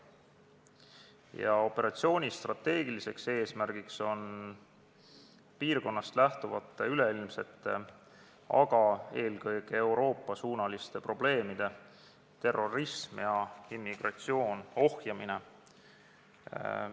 Ja operatsiooni strateegiline eesmärk on piirkonnast lähtuvate üleilmsete, aga eelkõige Euroopa-suunaliste probleemide ohjamine.